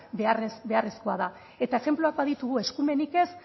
beharrezkoa da eta etsenpluak baditugu eskumenik ez